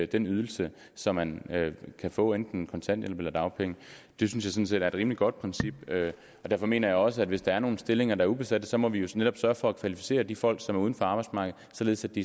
den ydelse som man kan få enten kontanthjælp eller dagpenge det synes jeg er et rimelig godt princip og derfor mener jeg også at hvis der er nogle stillinger der er ubesatte må vi vi netop sørge for at kvalificere de folk som er uden for arbejdsmarkedet således at de